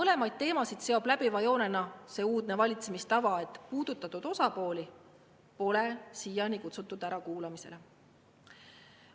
Neid kahte teemat seob läbiva joonena see uudne valitsemistava, et puudutatud osapooli pole kutsutud ärakuulamisele.